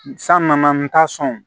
San nana n ta sɔn